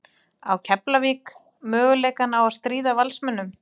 Á Keflavík möguleika á að stríða Valsmönnum?